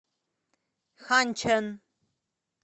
ханьчэн